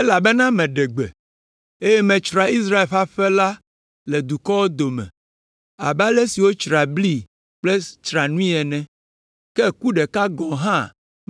“Elabena meɖe gbe, eye matsra Israel ƒe aƒe la le dukɔwo dome abe ale si wotsraa bli kple tsranui ene, ke ku ɖeka gɔ̃ hã